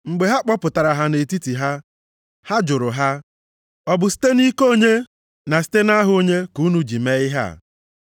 Mgbe ha kpọpụtara ha nʼetiti ha, ha jụrụ ha, “Ọ bụ site nʼike onye, na site nʼaha onye, ka unu ji mee ihe a?”